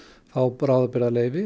fá bráðabirgðaleyfi